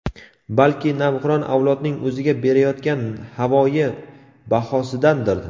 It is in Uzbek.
balki navqiron avlodning o‘ziga berayotgan havoyi bahosidandir.